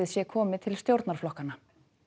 sé komið til stjórnarflokkanna